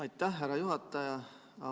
Aitäh, härra juhataja!